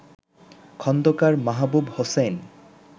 Khandakar Mahbub Hossain